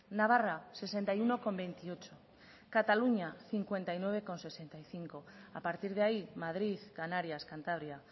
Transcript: navarra sesenta y uno coma veintiocho cataluña cincuenta y nueve coma sesenta y cinco a partir de ahí madrid canarias cantabria